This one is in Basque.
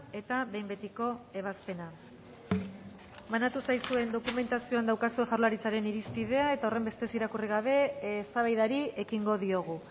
eta behin betiko ebazpena banatu zaizuen dokumentazioan daukazue jaurlaritzaren irizpidea eta horrenbestez irakurri gabe eztabaidari ekingo diogu